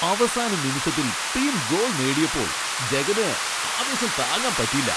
അവസാന നിമിഷത്തിൽ team goal നേടിയപ്പോൾ ജഗന് ആവേശം താങ്ങാൻ പറ്റീല്ല.